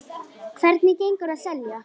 Hvernig gengur að selja?